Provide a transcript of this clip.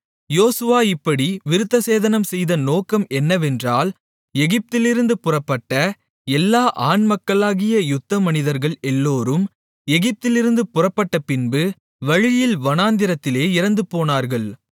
யோசுவா இப்படி விருத்தசேதனம்செய்த நோக்கம் என்னவென்றால் எகிப்திலிருந்து புறப்பட்ட எல்லா ஆண்மக்களாகிய யுத்த மனிதர்கள் எல்லோரும் எகிப்திலிருந்து புறப்பட்டப்பின்பு வழியில் வனாந்திரத்திலே இறந்துபோனார்கள்